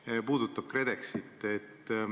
Need puudutavad KredExit.